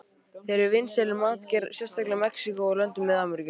Þeir eru vinsælir í matargerð, sérstaklega í Mexíkó og löndum Mið-Ameríku.